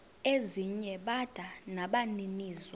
ezinye bada nabaninizo